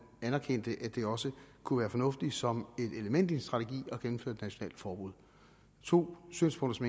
anerkendte at det også kunne være fornuftigt som et element i en strategi at gennemføre et nationalt forbud to synspunkter